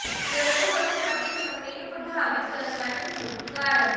ਗਰਭ ਅਵਸਥਾ ਦੇ ਸਮੇਂ ਨੂੰ ਪ੍ਰਭਾਵਿਤ ਕਰਨ ਵਾਲੇ ਪ੍ਰਮੁੱਖ ਕਾਰਕ